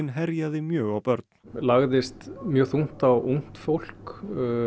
herjaði mjög á börn lagðist mjög þungt á ungt fólk